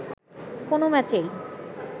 কোনো ম্যাচেই